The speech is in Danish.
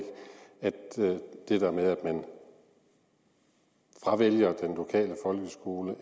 altså det der med at man fravælger den lokale folkeskole